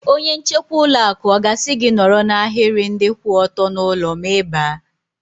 Onye nchekwa ụlọ akụ ọ ga-asị gị nọrọ n'ahiri ndị kwụ ọtọ n'ụlọ ma Ị baa?